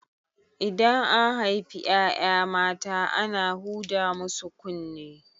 Idan an haifi ƴaƴa mata ana huda musu kunne